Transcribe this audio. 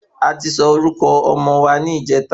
A ti sọ orúkọ ọmọ wa ni ìjèta